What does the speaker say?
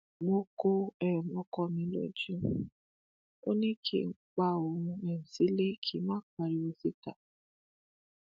mo ko um ọkọ mi lójú, ó ní kí n pa òun sílé kí n má pariwo síta.